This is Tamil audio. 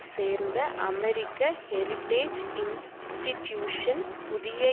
சேர்ந்த அமெரிக்க ஹெரிடேஜ் இன்ஸ்டிட்டியூசன் புதிய